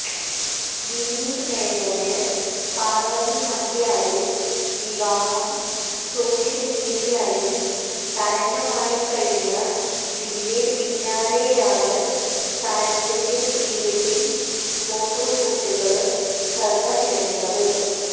വിനീത് മേനോന് പാര്വ്വതി നമ്പ്യാര് വിവാഹം സോഷ്യല് മീഡിയയിൽ തരംഗമായിക്കഴിഞ്ഞതിന്റെ പിന്നാലെയാണ് താരത്തിന്റെ പ്രീ വെഡ്ഡിംഗ് ഫോട്ടോഷൂട്ടുകള് ശ്രദ്ധ നേടുന്നത്